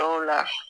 Dɔw la